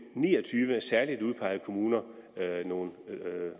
ni og tyve særligt udpegede kommuner nogle